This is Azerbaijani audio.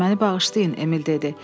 Məni bağışlayın, Emil dedi.